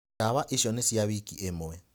Ndawa icio nĩ cia wiki ĩmwe.